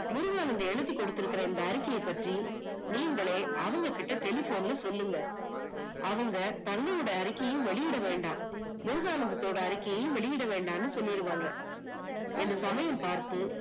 முருகானந் எழுதி கொடுத்திருக்குற அந்த அறிக்கைய பற்றி நீங்களே அவங்ககிட்ட telephone ல சொல்லுங்க, அவங்க தண்ணியோட அறிக்கையையும் வெளியிட வேண்டாம், முருகானந்தத்தோட அறிக்கையும் வெளியிட வேண்டாம்னு சொல்லிடுவாங்க. எண்ட சமயம் பாத்து